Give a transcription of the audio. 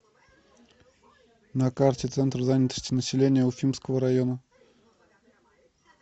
на карте центр занятости населения уфимского района